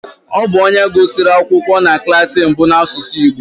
Ọ bụ onye gụsịrị akwụkwọ na klas mbụ n'asụsụ Igbo